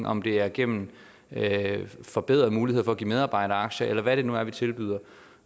om det er gennem forbedrede muligheder for at give medarbejderaktier eller hvad det nu er vi tilbyder